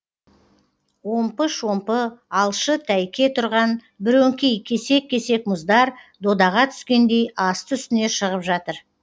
омпы шомпы алшы тәйке тұрған бірөңкей кесек кесек мұздар додаға түскендей асты үстіне шығып жатыр